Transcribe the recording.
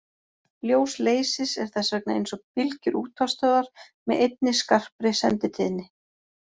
Ljós leysis er þess vegna eins og bylgjur útvarpsstöðvar með einni skarpri senditíðni.